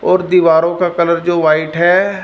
और दीवारों का कलर जो वाइट है।